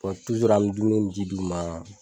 an bɛ dumuni ni ji d'u ma